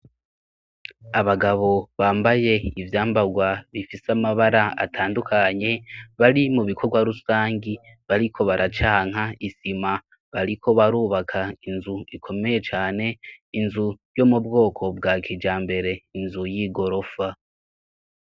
Abagabo bambaye ivyambarwa bifise amabara atandukanye bari mu bikorwa rusangi bariko baracanka isima bariko barubaka inzu ikomeye cane inzu yo mu bwoko bwa kija mbere inzu y'i gorofa.